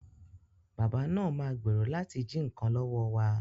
Bàbá náà ma gbèrò láti jí nǹkan lọ́wọ́ wa